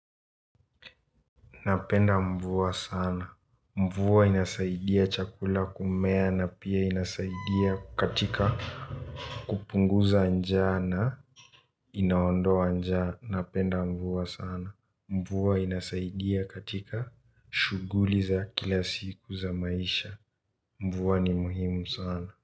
Napenda mvua sana. Mvua inasaidia chakula kumea na pia inasaidia katika kupunguza njaa na. Inaondoa njana, napenda mvua sana. Mvua inasaidia katika shuguli za kila siku za maisha. Mvua ni muhimu sana.